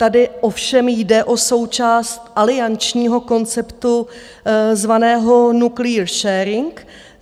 Tady ovšem jde o součást aliančního konceptu zvaného Nuclear sharing.